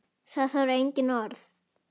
Það þarf engin orð.